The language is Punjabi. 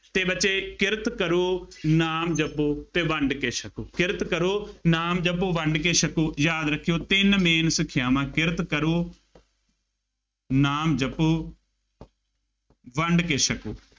ਅਤੇ ਬੱਚੇ ਕਿਰਤ ਕਰੋ ਨਾਮ ਜਪੋ ਅਤੇ ਵੰਡ ਕੇ ਛਕੋ। ਕਿਰਤ ਕਰੋ ਨਾਮ ਜਪੋ ਵੰਡ ਕੇ ਛਕੋ, ਯਾਦ ਰੱਖਿਉ ਤਿੰਨ main ਸਿੱਖਿਆਵਾਂ ਕਿਰਤ ਕਰੋ ਨਾਮ ਜਪੋ ਵੰਡ ਕੇ ਛਕੋ।